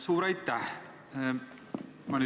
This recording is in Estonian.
Suur aitäh!